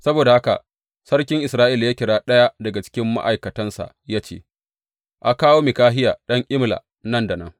Saboda haka sarkin Isra’ila ya kira ɗaya daga cikin ma’aikatansa ya ce, A kawo Mikahiya ɗan Imla nan da nan.